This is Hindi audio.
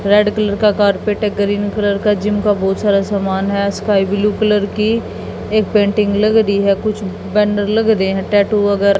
रेड कलर का कारपेट ग्रीन कलर का जिम का बहुत सारा सामान है स्काई ब्लू कलर की एक पेंटिंग लग रही है कुछ बैनर लग रहे हैं टैटू वगैरा--